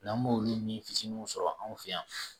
N'an b'olu ni fitininw sɔrɔ an fɛ yan